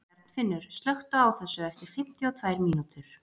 Bjarnfinnur, slökktu á þessu eftir fimmtíu og tvær mínútur.